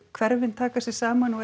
hverfin taka sig saman og